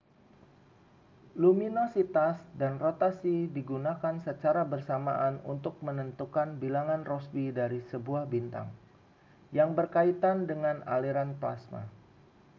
luminositas dan rotasi digunakan secara bersamaan untuk menentukan bilangan rossby dari sebuah bintang yang berkaitan dengan aliran plasma